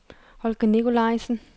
Holger Nicolaisen